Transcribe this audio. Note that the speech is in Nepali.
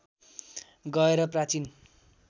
गएर प्राचीन